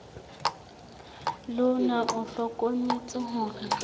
le ona o hlokometse hore